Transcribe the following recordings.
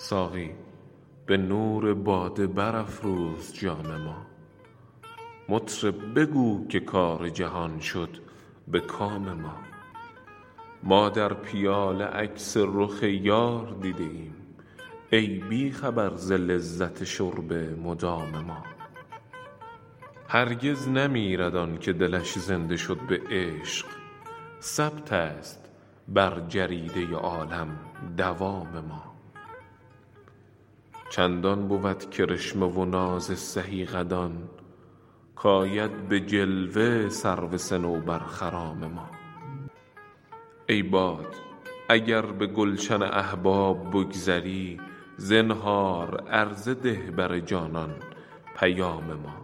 ساقی به نور باده برافروز جام ما مطرب بگو که کار جهان شد به کام ما ما در پیاله عکس رخ یار دیده ایم ای بی خبر ز لذت شرب مدام ما هرگز نمیرد آن که دلش زنده شد به عشق ثبت است بر جریده عالم دوام ما چندان بود کرشمه و ناز سهی قدان کآید به جلوه سرو صنوبرخرام ما ای باد اگر به گلشن احباب بگذری زنهار عرضه ده بر جانان پیام ما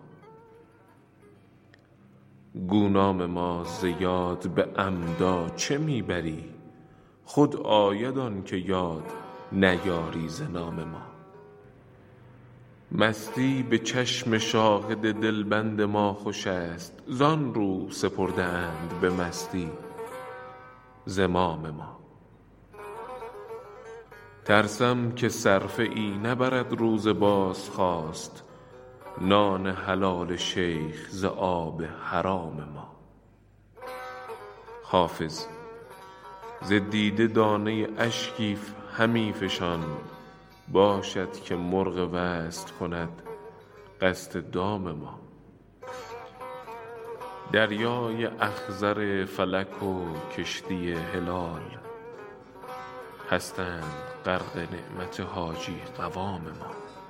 گو نام ما ز یاد به عمدا چه می بری خود آید آن که یاد نیاری ز نام ما مستی به چشم شاهد دلبند ما خوش است زآن رو سپرده اند به مستی زمام ما ترسم که صرفه ای نبرد روز بازخواست نان حلال شیخ ز آب حرام ما حافظ ز دیده دانه اشکی همی فشان باشد که مرغ وصل کند قصد دام ما دریای اخضر فلک و کشتی هلال هستند غرق نعمت حاجی قوام ما